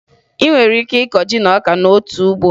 Ị nwere ike ịkọ ji na ọka n'otu ugbo